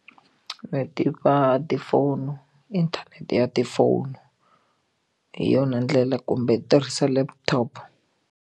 Ni tiva tifono inthanete ya tifono hi yona ndlela kumbe tirhisa laptop.